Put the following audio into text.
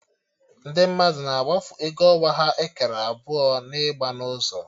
Ndị mmadụ na-agbafu ego ọnwa ha ekere abụọ na ịgba n'ụzọ